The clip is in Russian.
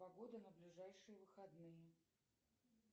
погода на ближайшие выходные